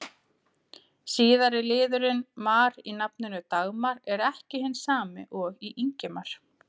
Síðari liðurinn-mar í nafninu Dagmar er ekki hinn sami og í Ingimar.